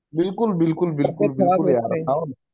बिलकुल बिलकुल बिलकुल यार